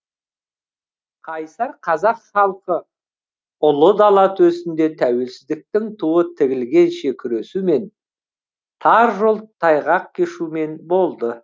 қайсар қазақ халқы ұлы дала төсінде тәуелсіздіктің туы тігілгенше күресумен тар жол тайғақ кешумен болды